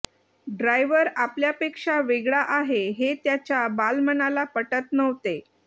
driver आपल्यापेक्षा वेगळा आहे हे त्याच्या बालमनाला पटत नव्हते